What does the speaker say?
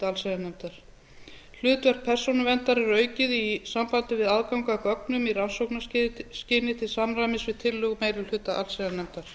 allsherjarnefndar hlutverk persónuverndar verður aukið í sambandi við aðgang að gögnum í rannsóknarskyni til samræmis við tillögu meiri hluta allsherjarnefndar